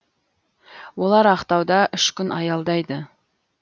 олар ақтауда үш күн аялдайды